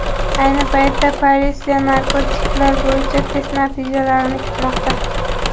Ayni paytda politsiya narkotiklar bo‘yicha test natijalarini kutmoqda.